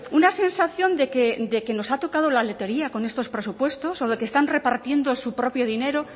una sensación de que nos ha tocado la lotería con estos presupuestos o de qué están repartiendo su propio dinero